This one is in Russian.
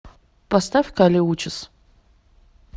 поставь кали учис